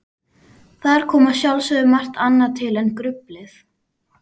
Þar kom að sjálfsögðu margt annað til en gruflið.